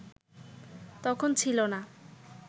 তখন ছিল না